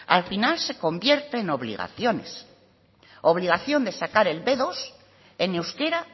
al final se convierte en obligaciones obligación de sacar el be dos en euskera